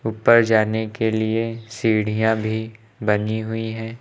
ऊपर जाने के लिए सीढ़ियां भी बनी हुई हैं।